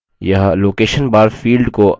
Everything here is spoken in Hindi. यह location bar field को opens करता है